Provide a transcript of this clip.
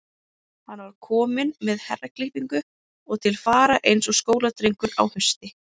Hann var kominn með herraklippingu og til fara eins og skóladrengur á hausti.